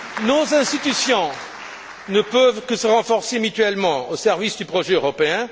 Nos institutions ne peuvent que se renforcer mutuellement au service du projet européen.